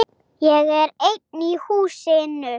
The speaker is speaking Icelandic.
Ég er einn í húsinu.